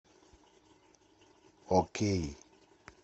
окей